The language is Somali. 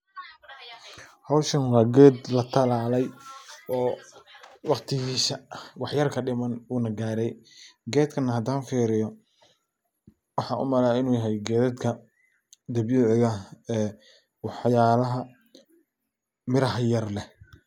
Hawshan waa geed latalalay oo waqtigiisa waxyar kadhiman uuna gaaray. Geedkan hadan fiiriyo waxaan u malayn in yahay geedadka gedyada cidaha ee waxyalaha miraha yayar leh.